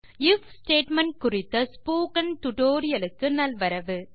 if statement குரித்த spoken டுடோரியலுக்கு நல்வரவு